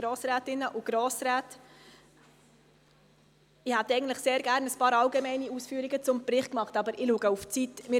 Ich hätte eigentlich sehr gerne ein paar allgemeine Ausführungen zum Bericht abgegeben, aber ich schaue auf die Uhr.